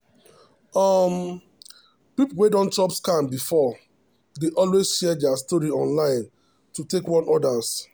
um people wey don chop scam before dey always share their story online to warn others.